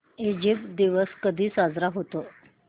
Egypt दिवस कधी साजरा होतो